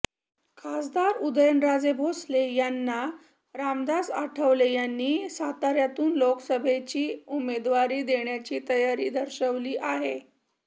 खासदार उदयनराजे भोसले यांना रामदास आठवले यांनी साताऱ्यातून लोकसभेची उमेदवारी देण्याची तयारी दर्शवली आहे